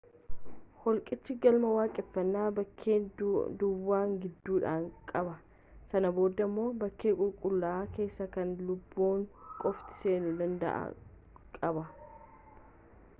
holqicha galma waaqeffannaa bakkee duwwaa gidduudha qaba sana booda immoo bakkee qulqullaa'aa keessaa kan luboonni qofti seenuu danda'an qaba